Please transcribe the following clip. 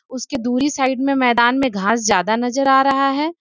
उसकी दूरी साइड में मैदान में घास ज्यादा नजर आ रहा है।